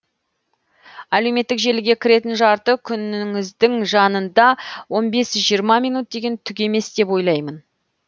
әлеуметтік желіге кіретін жарты күнініздің жанында он бес жиырма минут деген түк емес деп ойлаймын